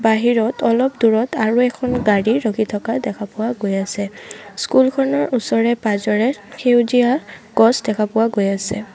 বাহিৰত অলপ দূৰত আৰু এখন গাড়ী ৰখি থকা দেখা পোৱা গৈ আছে স্কুল খনৰ ওচৰে পাজৰে সেউজীয়া গছ দেখা পোৱা গৈ আছে।